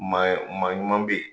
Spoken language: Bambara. Maa ye maa ɲuman bɛ yen.